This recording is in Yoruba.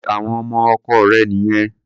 Ṣé àwọn ọmọ ọkọ rẹ̀ nìyẹn?